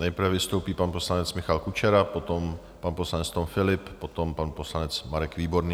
Nejprve vystoupí pan poslanec Michal Kučera, potom pan poslanec Tom Philipp, potom pan poslanec Marek Výborný.